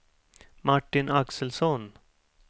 Martin Axelsson